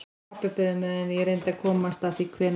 Pabbi beið á meðan ég reyndi að komast að því hvenær